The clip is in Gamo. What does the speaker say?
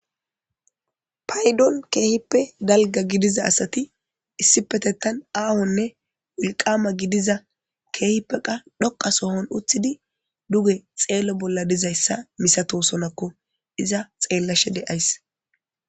paydon keehippe dalga gidiza asati issipetettan aahonne wolqama gidiza keehippeqa dhoqa sohon uthidi duge xeello bolla dizayssa misato sonakko iza xeellashe de'ays